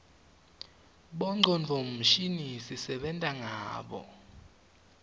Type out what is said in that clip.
bongcondvo mshini sisebenta ngabo